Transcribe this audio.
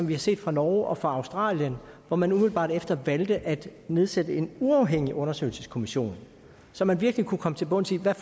vi har set fra norge og fra australien hvor man umiddelbart efter valgte at nedsætte en uafhængig undersøgelseskommission så man virkelig kunne komme til bunds i hvad